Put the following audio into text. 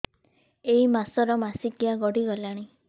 ଏଇ ମାସ ର ମାସିକିଆ ଗଡି ଗଲାଣି